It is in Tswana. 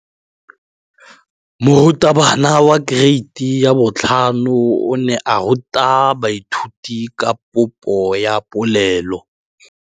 Moratabana wa kereiti ya 5 o ne a ruta baithuti ka popô ya polelô.